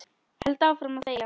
Held áfram að þegja.